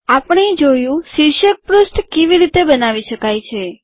આપણે જોયું શીર્ષક પૃષ્ઠ કેવી રીતે બનાવી શકાય છે